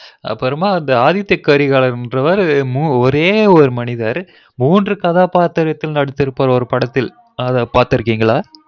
அப்றமா அந்த ஆதித்தியகரிகாலன் ரவரு ஒரே ஒரு மனிதர் மூன்று கதாபாத்திரதில் நடித்துருபார் ஒரு படத்தில் பாத்திருகிங்களா